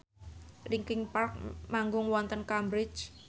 linkin park manggung wonten Cambridge